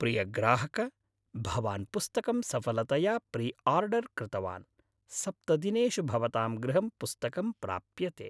प्रियग्राहक भवान् पुस्तकं सफलतया प्रिआर्डर् कृतवान्, सप्तदिनेषु भवतां गृहं पुस्तकं प्राप्यते।